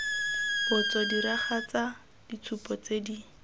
botso diragatsa ditshupo tse di